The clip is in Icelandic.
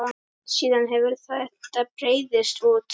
Síðan hefur þetta breiðst út.